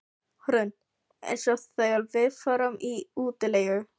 Hrund: Eins og þegar við förum í útilegu?